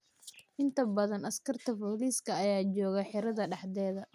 Inta badan askarta booliska ayaa jogaa xerada dexdeda.